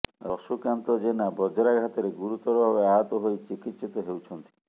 ର ଶୁକାନ୍ତ ଜେନା ବଜ୍ରାଘାତରେ ଗୁରୁତର ଭାବେ ଆହତ ହୋଇ ଚିକିତ୍ସିତ ହେଉଛନ୍ତି